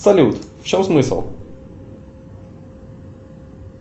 салют в чем смысл